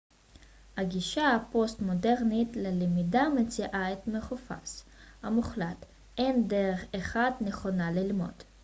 הגישה הפוסט-מודרנית ללמידה מציעה את החופש המוחלט אין דרך אחת נכונה ללמוד